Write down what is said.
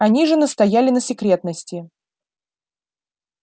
они же настояли на секретности